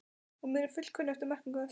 og er mér fullkunnugt um merkingu þess.